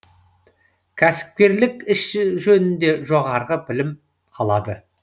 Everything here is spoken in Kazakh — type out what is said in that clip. кәсіпкерлік іс жөнінде жоғарғы білім алады